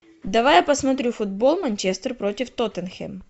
давай я посмотрю футбол манчестер против тоттенхэм